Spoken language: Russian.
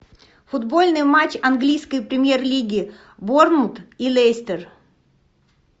футбольный матч английской премьер лиги борнмут и лестер